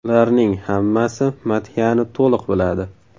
Ularning hammasi madhiyani to‘liq biladi.